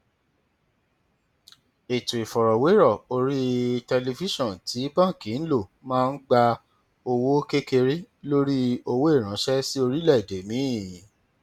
ètò ìfọrọwérọ orí tẹlifíṣọn tí báńkì ń lò máa ń gba owó kékeré lórí owó ìránṣẹ sí orílẹèdè míì